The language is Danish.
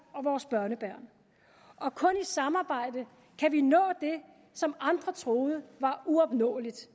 og vores børnebørn og kun i samarbejde kan vi nå det som andre troede var uopnåeligt